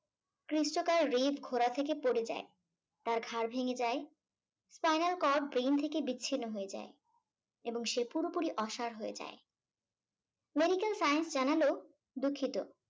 ঘোড়া থেকে পড়ে যায়, তার ঘাড় ভেঙে যায় spinal cord brain থেকে বিচ্ছিন্ন হয়ে যায় এবং সে পুরোপুরি অসাড় হয়ে যায়। Medical science জানালো দুঃখিত।